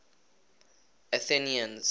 athenians